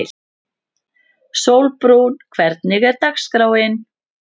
Sólbrún, hvernig er dagskráin?